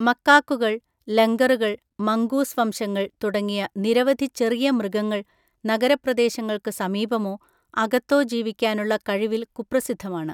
മക്കാക്കുകൾ, ലംഗറുകൾ, മംഗൂസ് വംശങ്ങൾ തുടങ്ങിയ നിരവധി ചെറിയ മൃഗങ്ങൾ നഗരപ്രദേശങ്ങൾക്ക് സമീപമോ അകത്തോ ജീവിക്കാനുള്ള കഴിവിൽ കുപ്രസിദ്ധമാണ്.